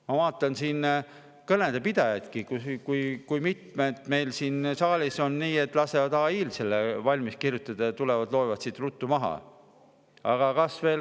Ma vaatan siin kõnede pidajaidki – kui mitmed meil siin saalis lasevad AI-l valmis kirjutada ja tulevad, loevad siin ruttu maha?